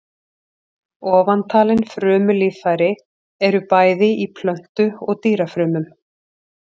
Ofantalin frumulíffæri eru bæði í plöntu- og dýrafrumum.